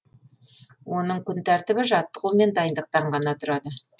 оның күн тәртібі жаттығу мен дайындықтан ғана тұрады